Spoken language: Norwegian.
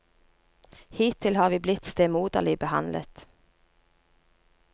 Hittil har vi blitt stemoderlig behandlet.